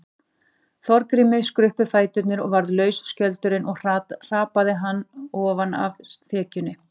Þorgrími skruppu fæturnir og varð laus skjöldurinn og hrataði hann ofan af þekjunni.